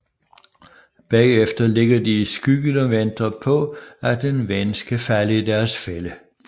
Bagefter ligger de i skyggen og venter på at en ven skal falde i deres fælde